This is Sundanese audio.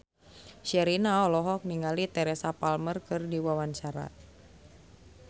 Sherina olohok ningali Teresa Palmer keur diwawancara